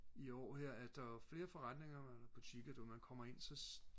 i år her at der var flere forretninger og butikker du ved når man kommer ind så